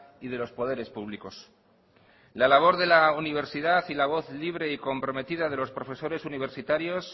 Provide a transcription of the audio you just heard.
y de los poderes públicos la labor de la universidad y la voz libre y comprometida de los profesores universitarios